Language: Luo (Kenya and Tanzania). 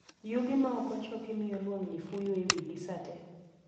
Yugi maokochoki mio lwang'ni fuyo ei wigi sate